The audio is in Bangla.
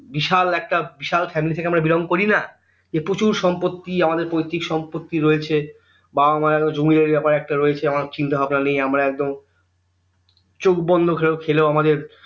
বিশাল একটা বিশাল family থেকে belong করি না যে প্রচুর সম্পত্তি আমাদের পৈতৃক সম্পত্তি রয়েছে বাবা মায়ের জমিদারি একটা ব্যাপার রয়েছে আমার চিন্তা ভাবনা নেই আমার একদম চোখ বন্ধ করে খেলেও আমাদের